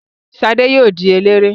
Ṣadé yóò di eléré.